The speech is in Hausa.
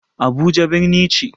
Abuja birni ce.